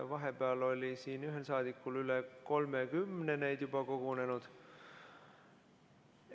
Vahepeal oli siin ühel saadikul üle 30 neid juba kogunenud.